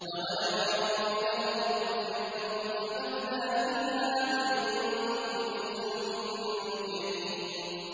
أَوَلَمْ يَرَوْا إِلَى الْأَرْضِ كَمْ أَنبَتْنَا فِيهَا مِن كُلِّ زَوْجٍ كَرِيمٍ